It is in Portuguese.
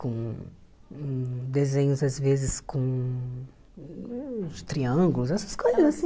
Com desenhos, às vezes, com triângulos, essas coisas assim.